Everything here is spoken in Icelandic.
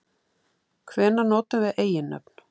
Hvenær notum við eiginnöfn?